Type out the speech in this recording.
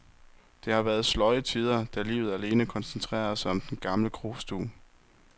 Der har været sløje tider, da livet alene koncentrerede sig om den gamle krostue.